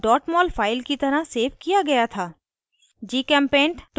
structure को mol file की तरह सेव किया गया था